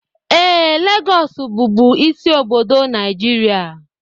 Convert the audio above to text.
Ee, Lagos bụbu isi obodo Nigeria